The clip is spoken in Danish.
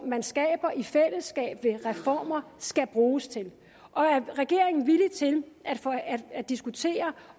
man skaber i fællesskab gennem reformer skal bruges til og er regeringen villig til at diskutere